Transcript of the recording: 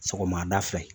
Sɔgɔmada fɛ